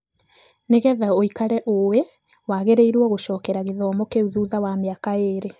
Nĩ getha ũikare ũĩ, wagĩrĩiro gũcokera gĩthomo kĩu thutha wa mĩaka ĩrĩ.